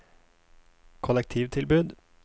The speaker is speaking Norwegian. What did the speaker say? kollektivtilbud